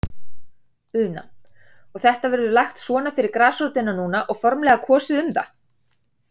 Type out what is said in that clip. Una: Og þetta verður lagt svona fyrir grasrótina núna og formlega kosið um það?